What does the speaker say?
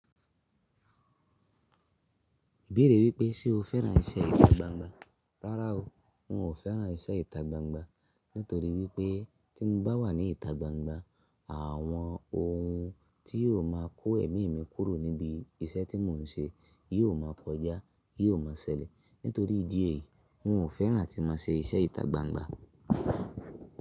Bẹ̀rẹ̀ wípé ṣe o fẹ́ràn iṣẹ́ ìtagbangba? Rárá o, n ò fẹ́ràn iṣẹ́ ìtagbangba nítorí wípé tí n bá wà ní ìtagbangba, àwọn ohun tí yóò máa kó ẹ̀mí mi kúrò níbi iṣẹ́ tí mò ń ṣe yóò máa koja, yóò ma ṣẹlẹ̀. Nítorí ìdí èyí, n ò fẹ́ràn a tí máa ṣe iṣẹ́ ìtagbangba.